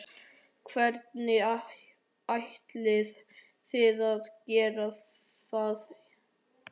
Hvernig ætlið þið að gera það?